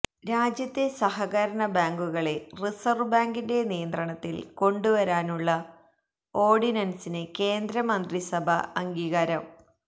രാജ്യത്തെ സഹകരണ ബാങ്കുകളെ റിസർവ് ബാങ്കിന്റെ നിയന്ത്രണത്തിൽ കൊണ്ടുവരാനുള്ള ഓർഡിനൻസിന് കേന്ദ്രമന്ത്രിസഭ അംഗീകാരം